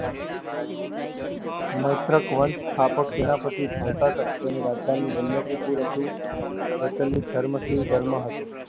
મૈત્રક વંશ સ્થાપક સેનાપતિ મોટા કર્ણ તેની રાજધાની વલ્લભ કુળ હતું. પ્રચલિત ધર્મ શ્રી ધર્મ હતો.